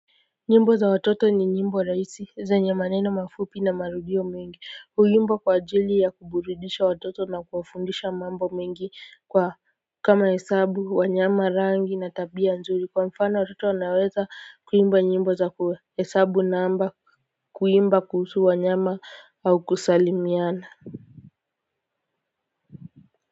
Nyimbo za watoto ni nyimbo rahisi zenye maneno mafupi na marudio mengi huimbwa kwa ajili ya kuburidisha watoto na kuwafundisha mambo mengi kwa kama hesabu wanyama rangi na tabia nzuri kwa mfano watoto wanaweza kuimba nyimbo za kuhesabu namba kuimba kuhusu wanyama au kusalimiana.